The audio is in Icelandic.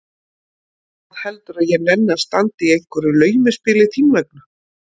Hvað heldurðu að ég nenni að standa í einhverju laumuspili þín vegna?